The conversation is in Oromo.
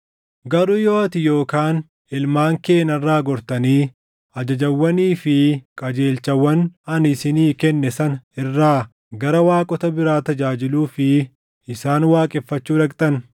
“Garuu yoo ati yookaan ilmaan kee narraa gortanii ajajawwanii fi qajeelchawwan ani isinii kenne sana irraa gara waaqota biraa tajaajiluu fi isaan waaqeffachuu dhaqxan,